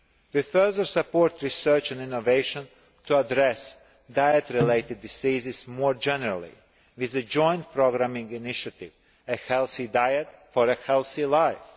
We further support research and innovation to address diet related diseases more generally, with the Joint Programming Initiative A Healthy Diet for a Healthy Life'.